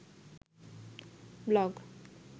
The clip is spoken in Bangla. ব্লগ